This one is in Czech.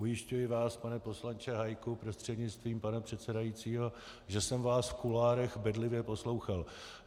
Ujišťuji vás, pane poslanče Hájku prostřednictvím pana předsedajícího, že jsem vás v kuloárech bedlivě poslouchal.